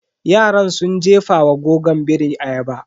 Yaran sun jefawa goggon biri ayaba.